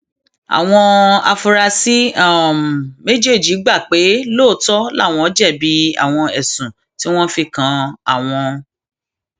àwọn áfúrásì um méjèèjì gbà pé lóòótọ làwọn um jẹbi àwọn ẹsùn tí wọn fi kan àwọn